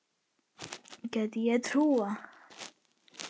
Gæti ég trúað.